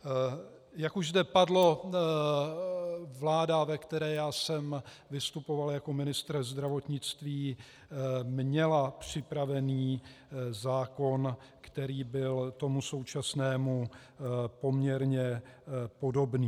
Jak už zde padlo, vláda, ve které já jsem vystupoval jako ministr zdravotnictví, měla připravený zákon, který byl tomu současnému poměrně podobný.